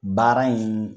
Baara in